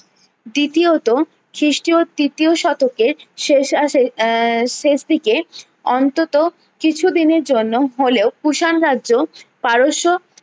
দ্বিতীয়ত খিস্টিও তৃতীয় শতকের শেষ আহ শেষ দিকে অন্তত কিছু দিনের জন্য হলেও কুষাণ রাজ্য পারস্য